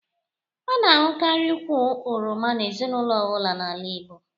A na ahukari ụkwụ oroma n'ezinaulo ọbụla n'ala Igbo